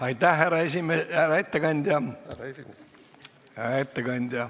Aitäh, härra ettekandja!